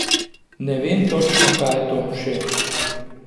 Ne vem točno, kaj je to, šef.